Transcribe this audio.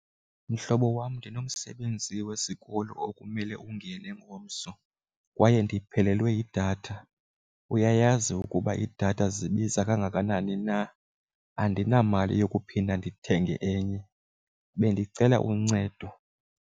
Mhlobo wam, ndinomsebenzi wesikolo okumele ungene ngomso kwaye ndiphelelwe yidatha. Uyayazi ukuba idatha zibiza kangakanani na, andinamali yokuphinda ndithenge enye. Bendicela uncedo.